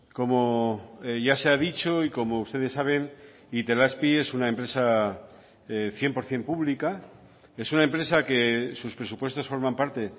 como ya se ha dicho y como ustedes saben itelazpi es una empresa cien por ciento pública es una empresa que sus presupuestos forman parte